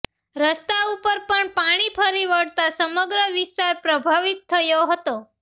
રસ્તા ઊપર પણ પાણી ફરી વળતા સમગ્ર વિસ્તાર પ્રભાવિત થયો હતો